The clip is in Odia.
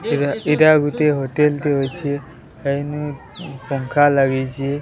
ଏଟା ଏଇଟା ଗୁଟିଏ ହୋଟେଲ ଟେ ଅଛି। ପଙ୍ଖା ଲାଗିଛି।